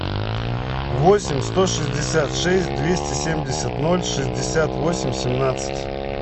восемь сто шестьдесят шесть двести семьдесят ноль шестьдесят восемь семнадцать